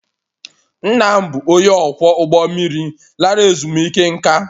Nna m bụ onye ọkwọ ụgbọ mmiri lara ezumike nká